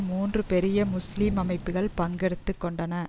மூன்று பெரிய முஸ்லீம் அமைப்புகள் பங்கெடுத்து கொண்டன